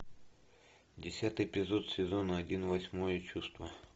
десятый эпизод сезона один восьмое чувство